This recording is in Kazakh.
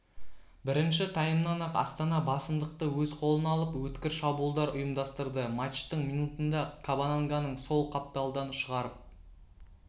бірінші таймнан-ақ астана басымдықты өз қолына алып өткір шабуылдар ұйымдастырды матчтың минутында кабананганың сол қапталдан шығарып